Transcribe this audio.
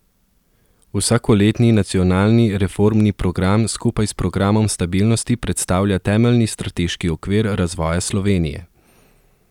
Vsakoletni nacionalni reformni program skupaj s programom stabilnosti predstavlja temeljni strateški okvir razvoja Slovenije.